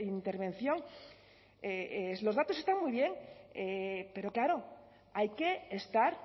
intervención los datos están muy bien pero claro hay que estar